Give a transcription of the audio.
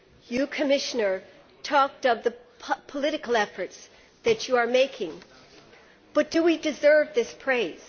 You, Commissioner, talked of the political efforts that you are making, but do we deserve this praise?